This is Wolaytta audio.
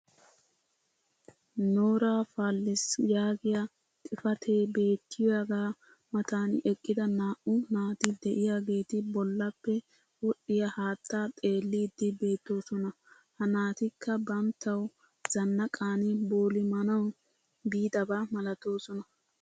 "nora falls" yaagiya xifatee beetiyaaga matan eqqida naa'u naati diyaageeti bolappe wodhdhiya haattaa xeelliidi beetoosona. ha naatikka banttawu zanaqan boolimanawu biidaba malatoosona.